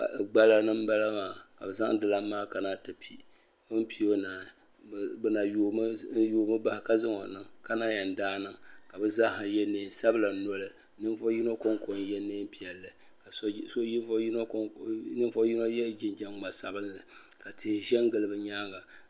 Gbala ni m bala maa ka bɛ zaŋ di lan maa kana ti pi bɛ ni pi o naai bɛ na yoomi bahi ka zaŋ o niŋ ka na yɛn daai niŋ ka bɛ zaaha yɛ neen sabila noli ninvuɣ yino kɔŋko n yɛ neen piɛlli ninvuɣ yino yɛ jinjam ŋma sabinli ka tihi ʒɛn gili bɛ nyaanga.